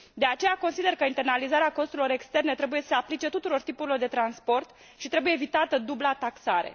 De aceea consider că internalizarea costurilor externe trebuie să se aplice tuturor tipurilor de transport și trebuie evitată dubla taxare.